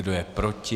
Kdo je proti?